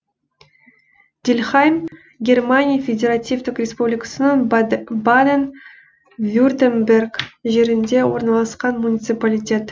дильхайм германия федеративтік республикасының баден вюртемберг жерінде орналасқан муниципалитет